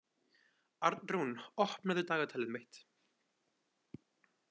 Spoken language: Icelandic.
Arnrún, opnaðu dagatalið mitt.